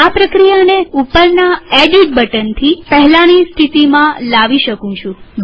હું આ પ્રક્રિયાને ઉપરના એડિટ બટનથી પહેલાની સ્થિતિમાં લાવી શકું